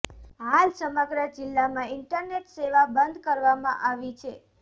હાલ સમગ્ર જિલ્લામાં ઇન્ટરનેટ સેવા બંધ કરવામાં આવી છે